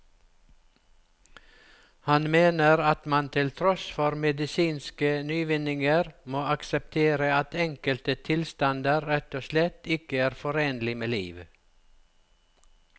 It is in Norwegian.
Han mener at man til tross for medisinske nyvinninger må akseptere at enkelte tilstander rett og slett ikke er forenlig med liv.